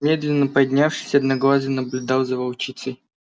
медленно поднявшись одноглазый наблюдал за волчицей